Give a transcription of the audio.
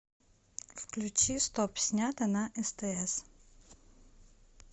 включи стоп снято на стс